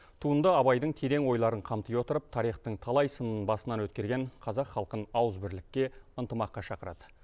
туынды абайдың терең ойларын қамти отырып тарихтың талай сынын басынан өткерген қазақ халқын ауызбірлікке ынтымаққа шақырады